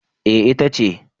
Eh ita ce